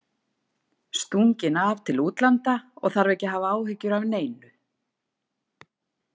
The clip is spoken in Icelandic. Stunginn af til útlanda og þarf ekki að hafa áhyggjur af neinu.